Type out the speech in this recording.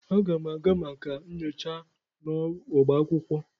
Aga m aga maka nyocha n'ọba akwụkwọ.